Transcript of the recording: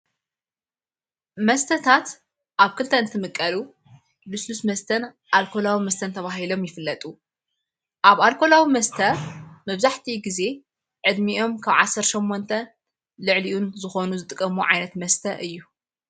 መስተታት ኣብ ክልተ ን ትምቀሉ ልስሉስ መስተን ኣልኮላዊ መስተን ተብሂሎም ይፍለጡ ኣብ ኣልኮላዊ መስተ መብዛሕቲ ጊዜ ዕድሚኦም ዓሠርተ ሸሞንተ ልዕሊኡን ዝኾኑ ዝጥቀሙ ዓይነት መስተ እዩ።